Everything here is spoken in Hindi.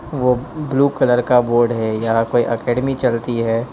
वो ब्लू कलर का बोर्ड है यह कोई एकेडमी चलती है।